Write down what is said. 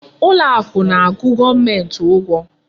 Ụlọ akụ na-akwụ gọọmenti ụgwọ.